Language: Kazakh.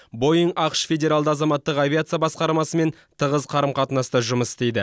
боинг ақш федералды азаматтық авиация басқармасымен тығыз қарым қатынаста жұмыс істейді